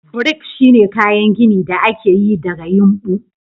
Brick shine kayan gini da aka yi daga yumbu.